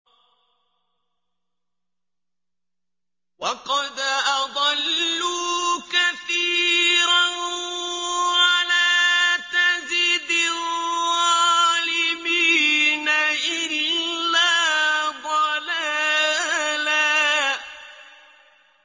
وَقَدْ أَضَلُّوا كَثِيرًا ۖ وَلَا تَزِدِ الظَّالِمِينَ إِلَّا ضَلَالًا